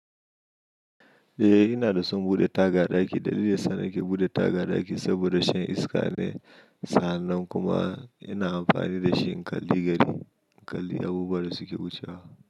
Eh, ina da son bude taga a ɗaki. Dalilin da ya sana ke buɗe taga a ɗaki saboda shan iska ne, sa'an nan kuma ina amfani dashi in kalli gari in kalli abubuwa da suke wucewa.